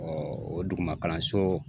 o dugumakalanso